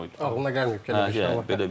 Ağlına gəlməyib ki, belə bir şey ola bilər.